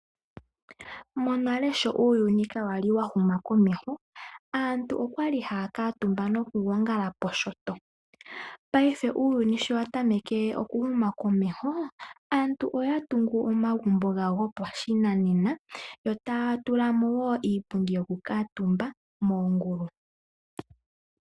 Monale sho uuyuni kawali wa huma komesho aantu okwali haya kuutumba noku gongala poshoto. Paife uuyuni sho wa tameke oku huma komeho, aantu oya tungu omagumbo gawo gopashinanena yo taya tulamo wo iipundi yoku kaatumba moongulu.